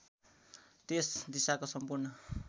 त्यस दिशाको सम्पूर्ण